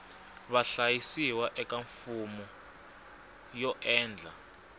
vahlayisiwa eka fomo yo endla